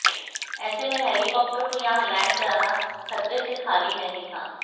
ऐसे में हेलीकॉप्टर को यहां लैंड कराना खतरे से खाली नहीं था